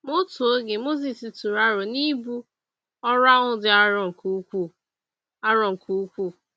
Ma, n’otu oge, Mosis tụrụ aro na ibu ọrụ ahụ dị arọ nke ukwuu. arọ nke ukwuu.